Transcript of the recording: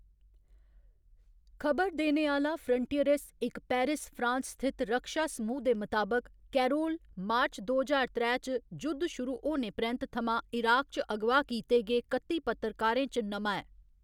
खबर देने आह्‌ला फ्रंटियरेस, इक पेरिस, फ्रांस स्थित रक्षा समूह् दे मताबक, कैरोल मार्च दो ज्हार त्रै च जुद्ध शुरू होने परैंत्त थमां इराक च अगवा कीते गे कत्ती पत्रकारें च नमां ऐ।